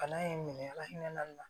Bana in minɛ ala hinɛ na